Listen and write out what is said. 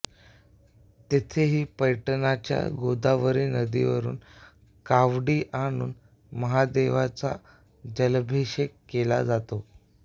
तेथेही पैठणच्या गोदावरी नदीवरून कावडी आणून महादेवाचा जलाभिषेक केला जातो